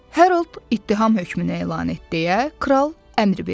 Harold ittiham hökmünü elan et deyə kral əmr verdi.